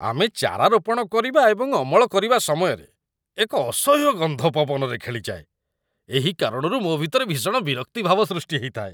ଆମେ ଚାରା ରୋପଣ କରିବା ଏବଂ ଅମଳ କରିବା ସମୟରେ ଏକ ଅସହ୍ୟ ଗନ୍ଧ ପବନରେ ଖେଳିଯାଏ, ଏହି କାରଣରୁ ମୋ ଭିତରେ ଭୀଷଣ ବିରକ୍ତି ଭାବ ସୃଷ୍ଟି ହେଇଥାଏ।